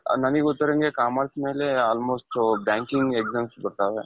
ನನಿಗೆ ಗೊತ್ತಿರಂಗೆ commerce ಮೇಲೆ almost banking exams ಬರ್ತಾವೆ.